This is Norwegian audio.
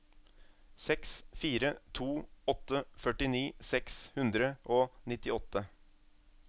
seks fire to åtte førtini seks hundre og nittiåtte